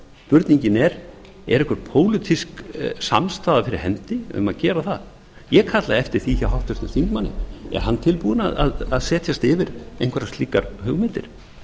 spurningin er er einhver pólitísk samstaða fyrir hendi um að gera það ég kalla eftir því hjá háttvirtum þingmanni er hann tilbúinn að setjast yfir einhverjar slíkar hugmyndir